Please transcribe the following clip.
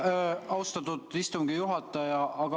Aitäh, austatud istungi juhataja!